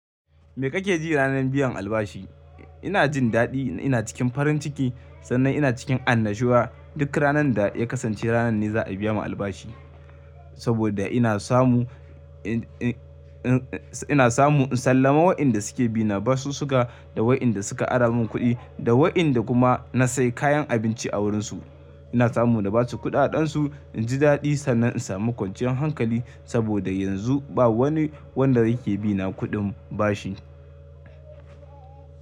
Me kake ji ranar biyan albashi? Ina jin daɗi, ina cikin farin ciki sannan ina cikin annashuwa duk ranar da ya kasance ranar ne za a biya mu albashi. Saboda ina samu, ina samu in sallama wa'yanda suke bina basussuƙa da wa'yanda suka ara min kuɗi da wa'yanda kuma na sai kayan abinci a wurinsu. Ina samu na basu kuɗaɗen su, inji daɗi sannan in samu kwanciyar hankali saboda yanzu ba wani wanda yake bina kuɗin bashi.